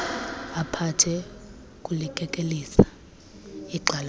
aphathe kulikekelisa igxalaba